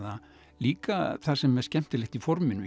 líka það sem er skemmtilegt í forminu